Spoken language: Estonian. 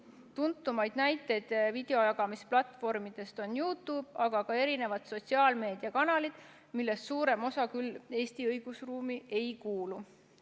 Üks tuntumaid videojagamisplatvorme on YouTube, samuti mitmesugused sotsiaalmeediakanalid, millest suurem osa küll Eesti õigusruumi ei kuulu.